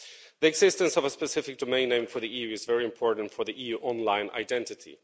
The existence of a specific domain name for the EU is very important for the EU online identity.